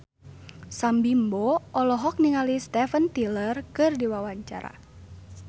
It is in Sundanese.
Sam Bimbo olohok ningali Steven Tyler keur diwawancara